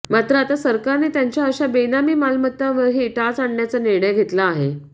मात्र आता सरकारने त्यांच्या अशा बेनामी मालमत्तांवरही टांच आणण्याचा निर्णय घेतला आहे